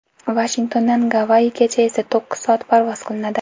Vashingtondan Gavayigacha esa to‘qqiz soat parvoz qilinadi.